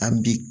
An bi